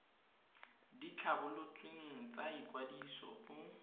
di tlhabolotsweng tsa ikwadiso go